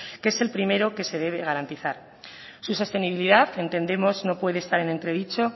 que es el primero que se debe garantizar su sostenibilidad entendemos no puede estar entre dicho